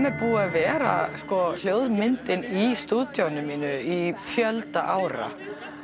er búið að vera hljóðmyndin í stúdíóinu mínu í fjölda ára